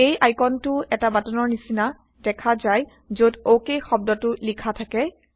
এই আইকনটো এটা বাটনৰ নিচিনা দেখা যায় যত অক শব্দটো লিখা থাকে